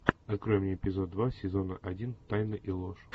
открой мне эпизод два сезона один тайны и ложь